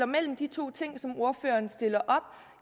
mellem de to ting som ordføreren stiller op